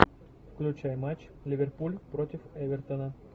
включай матч ливерпуль против эвертона